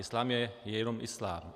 Islám je jenom islám.